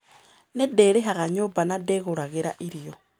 Nĩ ndĩrĩhagĩra nyũmba na nĩ ndĩgũragĩra irio.